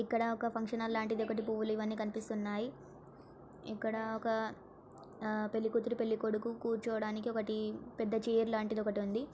ఇక్కడ function hall లాంటి ఒక్కటి పూలు అన్ని కనిపిస్తున్నాయి ఇక్కడ ఒక పెళ్ళికూతురు పెళ్ళికొడుకు కూర్చోడానికి ఒకటి పెద్ద చైర్ లాంటిది ఒకటి ఉంది.